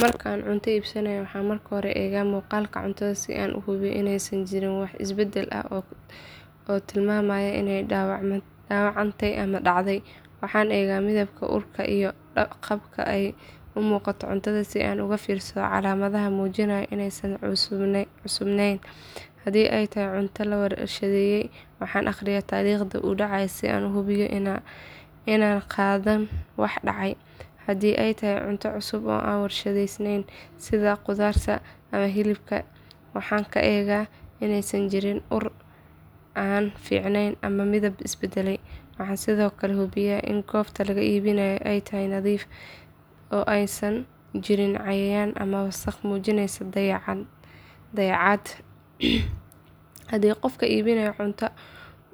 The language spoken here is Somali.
Marka aan cunto iibsanayo waxaan marka hore eegaa muuqaalka cuntada si aan u hubiyo inaysan jirin wax isbedel ah oo tilmaamaya inay dhaawacantay ama dhacay. Waxaan eegaa midabka, urka iyo qaabka ay u muuqato cuntada si aan uga fiirsado calaamadaha muujinaya inaysan cusubayn. Haddii ay tahay cunto la warshadeeyay waxaan akhriyaa taariikhda uu dhacay si aan u hubiyo in aanan qaadan wax dhacay. Haddii ay tahay cunto cusub oo aan la warshadeyn sida khudaar ama hilib waxaan ka eegaa inaysan jirin ur aan fiicnayn ama midab isbedelay. Waxaan sidoo kale hubiyaa in goobta laga iibinayo ay nadiif tahay oo aysan jirin cayayaan ama wasakh muujinaysa dayacaad. Haddii qofka iibinaya cunto